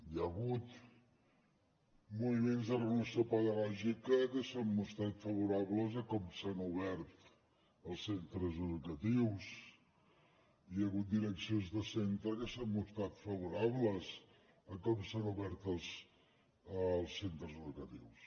hi ha hagut moviments de renovació pedagògica que s’han mostrat favorables a com s’han obert els centres educatius hi ha hagut direccions de centre que s’han mostrat favorables a com s’han obert els centres educatius